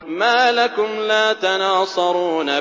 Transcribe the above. مَا لَكُمْ لَا تَنَاصَرُونَ